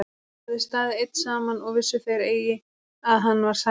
Hann hafði staðið einn saman og vissu þeir eigi að hann var særður.